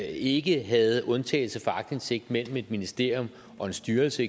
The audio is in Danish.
ikke havde undtagelse fra aktindsigt mellem eksempelvis et ministerium og en styrelse